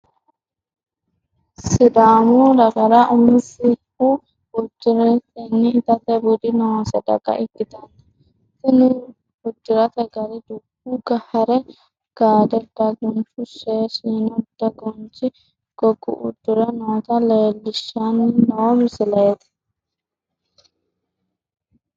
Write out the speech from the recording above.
Sidaamu dagara umisehu udiratenna itate budi noose daga ikitanna tinni udirate gari dubo hare gaade daguncho shee shiino daginchi gogga udire noota leelishanni noo misileeti.